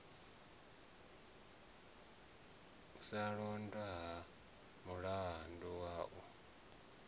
sa londotwa ha mulala u